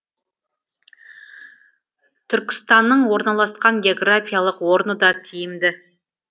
түркістанның орналасқан географиялық орны да тиімді